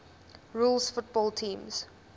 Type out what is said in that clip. rules football teams